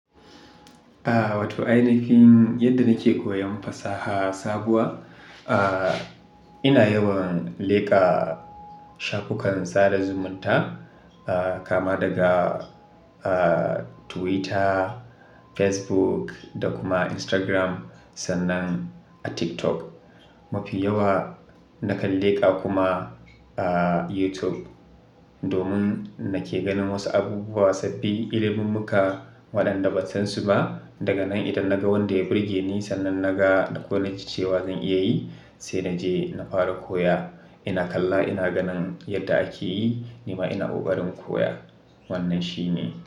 A wato ainihin yadda na ke koyon fasaha sabuwa, a ina yawan leƙa shafukan sada zumunta kama daga a Twitter, Facebook da kuma Instagram sannan a TikTok. Mafi yawa na kan leƙa kuma a YouTube domin na ke ganin wasu abubuwa sabbin iliminmuka waɗanda ban san su ba. Daga nan idan na ga wanda ya burge ni sannan na ga ko na ji cewa zan iya yi, sai naje na fara koya. Ina kalla ina ganin yadda ake yi, nima ina kokarin koya. Wannan shine.